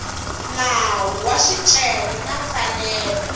nawu wa swicelwa na mfanelo